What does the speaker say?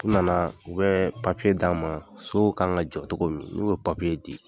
U nana, u bɛ papiye d'a ma, sow ka kan ka jɔ cogo min. N'u y'o papiye di